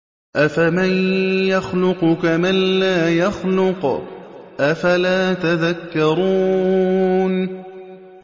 أَفَمَن يَخْلُقُ كَمَن لَّا يَخْلُقُ ۗ أَفَلَا تَذَكَّرُونَ